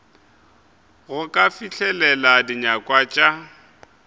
go ka fihlelela dinyakwa tša